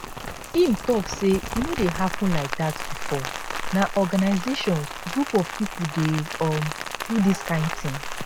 im tok say e no dey happun like dat bifor na organisations group of pipo dey um do dis kain tin